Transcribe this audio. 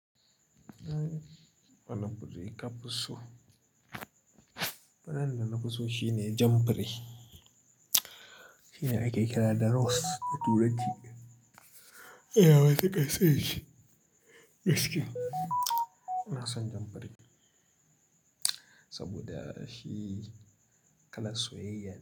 Wani kudi ka fi so? Wannan da na fi so shine jan biri. Shine akekena da rose da turaci. Ina matukar sonshi gaskiya. Ina son jan biri saboda shi kalan soyayya ne.